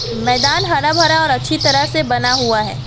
मैदान हरा भरा और अच्छी तरह से बना हुआ है।